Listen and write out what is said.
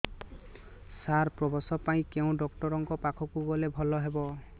ସାର ପ୍ରସବ ପାଇଁ କେଉଁ ଡକ୍ଟର ଙ୍କ ପାଖକୁ ଗଲେ ଭଲ ହେବ